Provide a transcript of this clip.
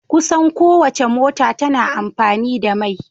Kusan kowacce mota tana amfani da mai.